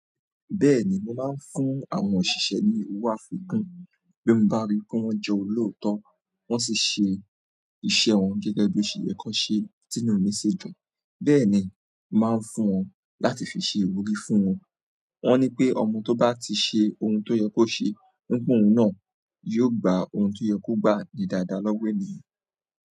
Bẹ́ẹ̀ni mo máa ń fún àwọn òṣìṣẹ́ ní owó àfikún bí mo bá ríi pé wọ́n jẹ́ olóòótọ́, wọ́n sì ṣe iṣẹ́ wọn gẹ́gẹ́ bí ó ṣe yẹ k'ọ́n ṣeé, tínú mi sì dùn. Bẹ́ẹ̀ni n máa ń fún wọn láti fi ṣe ìwúrí fún wọn. Wọ́n ní pé ọmọ tó bá ti ṣe ohun tó yẹ kó ṣe, ní p'óun náà yóò gba ohun tó yẹ kó gba ní dáadáa lọ́wọ́ ènìyàn.